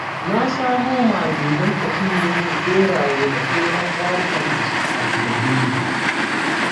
Na samo mage don ta cinye min ɓeraye da sauran ƙwarukan da suka addabe ni